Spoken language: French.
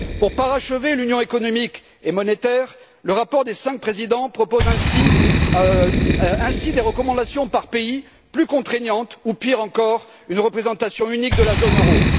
Pour parachever l'Union économique et monétaire, le rapport des cinq présidents propose ainsi des recommandations par pays plus contraignantes ou, pire encore, une représentation unique de la zone euro.